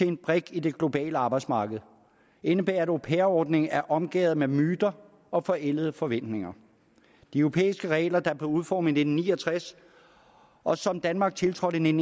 en brik i det globale arbejdsmarked indebærer at au pair ordningen er omgærdet af myter og forældede forventninger de europæiske regler der blev udformet i nitten ni og tres og som danmark tiltrådte i nitten